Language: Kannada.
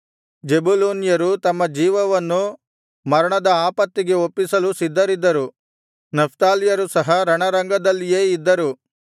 ಜೆಬುಲೂನ್ಯರು ತಮ್ಮ ಜೀವವನ್ನು ಮರಣದ ಆಪತ್ತಿಗೆ ಒಪ್ಪಿಸಲು ಸಿದ್ಧರಿದರು ನಫ್ತಾಲ್ಯರು ಸಹ ರಣರಂಗದಲ್ಲಿಯೇ ಇದ್ದರು